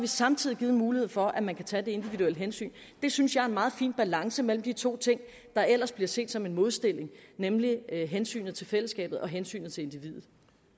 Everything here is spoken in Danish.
samtidig givet mulighed for at man kan tage det individuelle hensyn det synes jeg er en meget fin balance mellem de to ting der ellers bliver set som en modstilling nemlig hensynet til fællesskabet og hensynet til individet